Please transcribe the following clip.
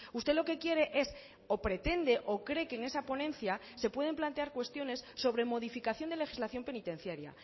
usted lo que quiere es o pretende o cree que en esa ponencia se pueden plantear cuestiones sobre modificación de legislación penitenciaria